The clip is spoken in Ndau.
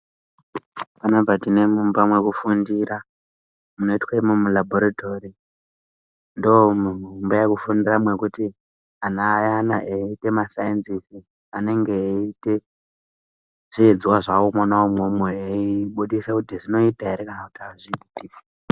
Panapa tine mumba mwekufundira munoitwe imomo mulabhoritori. Ndomuimba yekufundira mwekuti ana ayana eiite masainzizi anenge eiite zvidzidzo zvavo mwona imwomwo eibudisa kuti zvinoita ere kana kuti hazviiti.